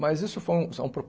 Mas isso foi um é um